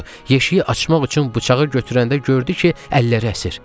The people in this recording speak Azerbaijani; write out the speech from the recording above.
Yeşiyi açmaq üçün bıçağı götürəndə gördü ki, əlləri əsir.